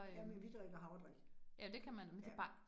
Jamen vi drikker havredrik. Ja